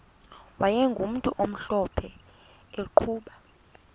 wayegumntu omhlophe eqhuba